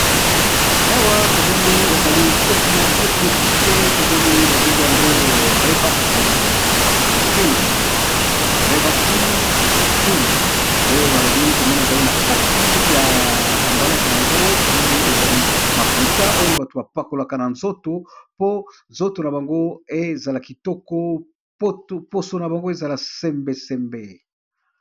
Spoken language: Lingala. Awa tomoni ezali na cosmetique babengi yango rebactime creme, nde balobi tomoni ezali na kati ya emballage na yango, tomoni ezali mafuta oyo bato bapakolaka na nzoto po nzoto na bango ezala kitoko poso na bango ezala sembesembe.